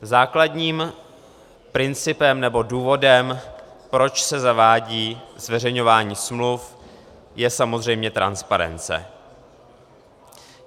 Základním principem nebo důvodem, proč se zavádí zveřejňování smluv, je samozřejmě transparence.